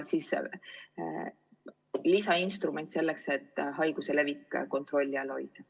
See on lisainstrument selleks, et haiguse levik kontrolli all hoida.